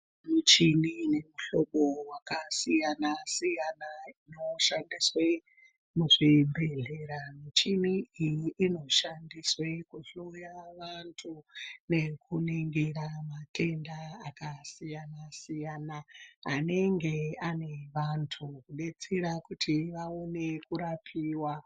Michini ine mihlobo wakasiyana siyana inoshandiswe muzvibhedhleya, muchini iyi inoshandiswe kuhloya vantu nekuningira matenda akasiyana siyana anenge ane vantu kudetsera kuti vaone kurapiwa.